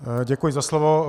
Děkuji za slovo.